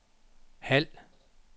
halv